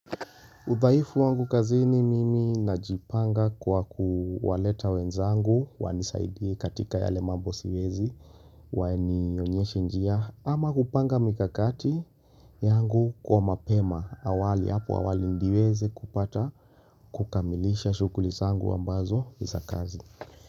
Udhaifu wangu kazini mimi najipanga kwa kuwaleta wenzangu, wanisaidie katika yale mambo siwezi, wanionyeshe njia, ama kupanga mikakati yangu kwa mapema awali, hapo awali ndiweze kupata kukamilisha shughuli zangu ambazo za kazi.